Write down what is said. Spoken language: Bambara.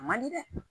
A man di dɛ